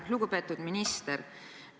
Lugupeetud minister!